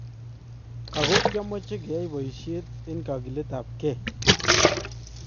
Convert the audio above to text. Ako kiamache keyai boisiet en kagilet ab kee